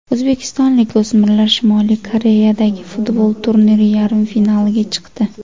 O‘zbekistonlik o‘smirlar Shimoliy Koreyadagi futbol turniri yarim finaliga chiqdi.